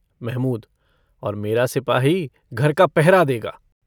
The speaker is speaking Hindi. महमूद - और मेरा सिपाही घर का पहरा देगा।